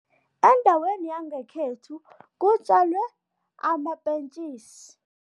Endaweni yangekhethu kutjalwe amapentjisi.